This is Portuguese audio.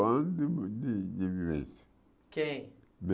Anos de de vivência. Quem